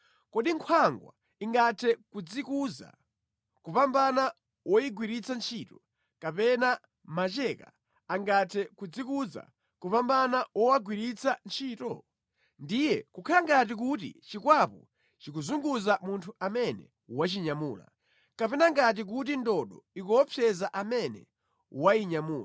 Kodi nkhwangwa ingathe kudzikuza kupambana woyigwiritsa ntchito, kapena macheka angathe kudzikuza kupambana wowagwiritsa ntchito? Ndiye kukhala ngati kuti chikwapu chikuzunguza munthu amene wachinyamula, kapena ngati kuti ndodo ikuopseza amene wayinyamula!